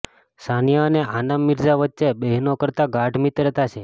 સાનિયા અને આનમ મિર્ઝા વચ્ચે બહેનો કરતા ગાઢ મિત્રતા છે